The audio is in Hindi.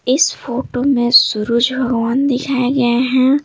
इस फोटो में सूरज भगवान दिखाए गए हैं।